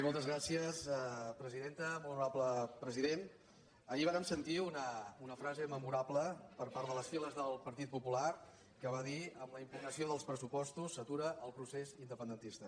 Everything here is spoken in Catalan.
molt honorable president ahir vàrem sentir una frase memorable per part de les files del partit popular que va dir amb la impugnació dels pressupostos s’atura el procés independentista